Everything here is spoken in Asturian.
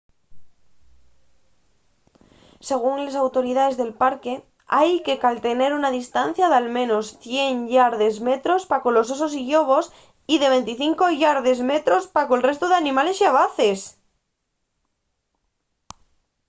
según les autoridaes del parque ¡hai que caltener una distancia d’al menos 100 yardes/metros pa colos osos y llobos y de 25 yardes/metros pa col restu d’animales xabaces!